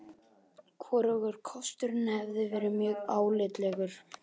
Hvorugur kosturinn hefði verið mjög álitlegur.